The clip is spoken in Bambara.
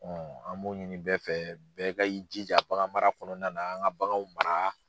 an b'o ɲini bɛɛ fɛ bɛɛ ka i jija bagan mara kɔnɔna na an ka baganw mara.